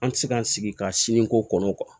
An tɛ se ka an sigi ka sini ko kɔnɔ